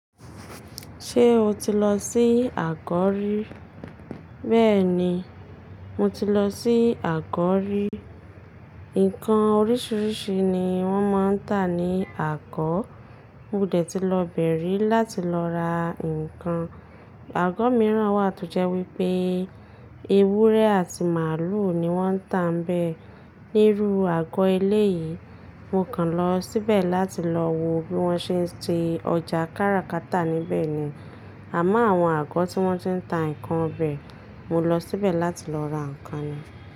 Ṣé o ti lọ sí Àkọ́rí? Bẹ́ẹ̀ni, mo ti lọ sí Àgọ́ rí Ǹǹkan oríṣiríṣi ni wọ́n máa ń tà ní Àgọ Mo dẹ̀ tí lọ bẹ̀rẹ̀ láti lọ ra ǹkan. Àgọ́ mìíràn wà tó jẹ́ wípé ewúrẹ́ àti màlúù ni wọ́n ń tà níbẹ̀. Níru àgọ́ eléyìí, mo kan lọ síbẹ̀ láti lọ wo bí wọ́n ṣe ń ṣe ọjà káràkátà níbẹ̀ ni. Àmá àwọn àgọ́ tí wọ́n ti ń tà ǹkan ọbẹ, mo lọ síbẹ̀ láti lọ ra ǹkan ni.